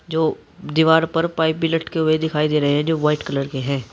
जो दीवार पर पाइप भी लटके हुए दिखाई दे रहे हैं जो वाइट कलर के हैं।